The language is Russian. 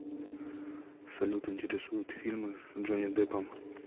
салют интересуют фильмы с джонни деппом